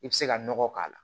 I bɛ se ka nɔgɔ k'a la